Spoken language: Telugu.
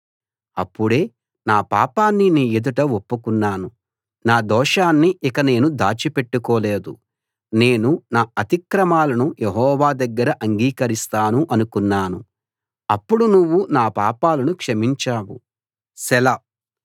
అప్పుడే నా పాపాన్ని నీ ఎదుట ఒప్పుకున్నాను నా దోషాన్ని ఇక నేను దాచిపెట్టుకోలేదు నేను నా అతిక్రమాలను యెహోవా దగ్గర అంగీకరిస్తాను అనుకున్నాను అప్పుడు నువ్వు నా పాపాలను క్షమించావు సెలా